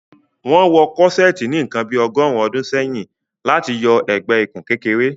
Wọn wọ Corseti ni nkàn bí ọ̀gọ̀rùn ọdún sẹ̀yìn láti yọ ẹgbẹ-ìkùn kékèrè